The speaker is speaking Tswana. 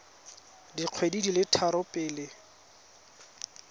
dikgwedi di le tharo pele